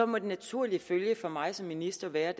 må den naturlige følge for mig som minister være